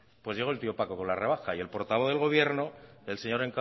llegó el tío paco con la rebaja y el portavoz del gobierno el señor